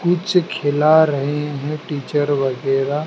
कुछ खिला रहे हैं टीचर वगैरा--